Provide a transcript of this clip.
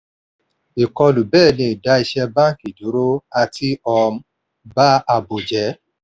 ìkọlù bẹ́ẹ̀ lè dá iṣẹ́ báńkì dúró àti um ba ààbò jẹ.